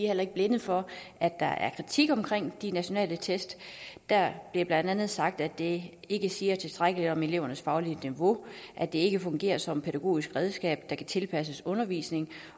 heller ikke blinde for at der er kritik af de nationale test der bliver blandt andet sagt at de ikke siger tilstrækkeligt om elevernes faglige niveau at de ikke fungerer som pædagogisk redskab der kan tilpasses undervisningen